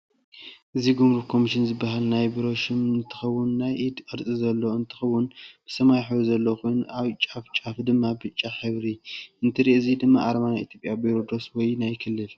እዚ ጉምሩክ ኮሚሽን ዝበሃል ናይ ቤሮ ሽም ንትከውን ናይ ኢድ ቅርፂ ዘለዎ እንትከውንብሰማያዊሕብሪ ዘለዎ ኮይኑ ኣብ ጫፍጫፍ ድማ ብጫ ሕብሪ እ ንትርኢ እዚ ኣርማ ናይ ኢትየጵያ በሮ ዶስ ወይ ናይ ክልል?